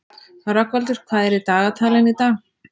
Rögnvaldur, hvað er í dagatalinu í dag?